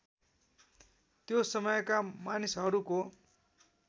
त्यो समयका मानिसहरूको